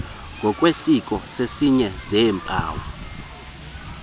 ngokwesiseko sezinye zeempawu